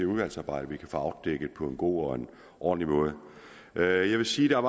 udvalgsarbejdet på en god og ordentlig måde jeg vil sige at